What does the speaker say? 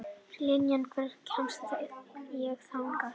Liljan, hvernig kemst ég þangað?